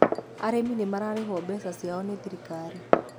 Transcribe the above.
Arimi nĩmarĩhũo mbeca ciao nĩ thirikari.